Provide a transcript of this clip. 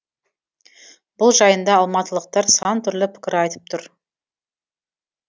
бұл жайында алматылықтар сантүрлі пікір айтып тұр